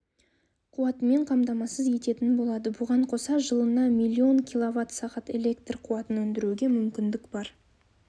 қуатымен қамтамасыз ететін болады бұған қоса жылына млн кв сағат электр қуатын өндіруге мүмкіндік бар